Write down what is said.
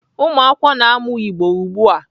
Ụmụakwụkwọ na-amụ Igbo ugbu a.